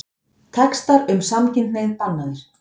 Textar um samkynhneigð bannaðir